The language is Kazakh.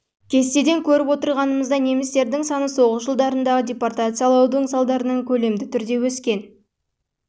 кестеден көріп отырғанымыздай немістердің саны соғыс жылдарындағы депортациялаудың салдарынан көлемді түрде өскен